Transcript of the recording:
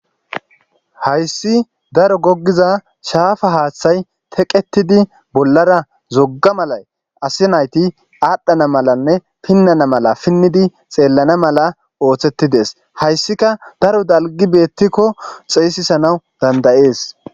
Hayissi daro gogida shafa hathayi teqetudi bolara zoga malayi asa nayiti adhana malane pinana mala pinidi xelana mala osetides hayisika daro dalgi betiko xesisanaw dandayes